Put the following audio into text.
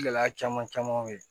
Gɛlɛya caman caman bɛ yen